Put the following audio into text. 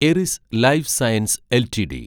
Airy's life sciences LTD